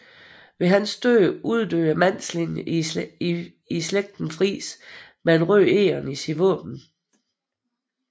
Ved hans død uddøde mandslinjen i slægten Friis med et rødt egern i sit våben